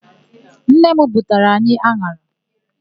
Nnenne m butere anyị an̄ara.